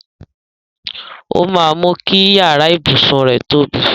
Ó máa mú kí iyàrá ibùsùn rẹ tóbi.